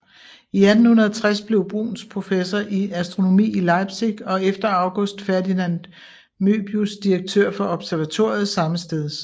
I 1860 blev Bruhns professor i astronomi i Leipzig og efter August Ferdinand Möbius direktør for observatoriet sammesteds